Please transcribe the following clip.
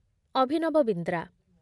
Abhinav Bindra